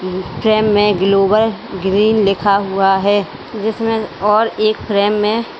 frame में global green लिखा हुआ है जिसमें और एक फ्रेम में--